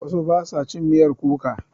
Wasu ba su cin miyar kuka.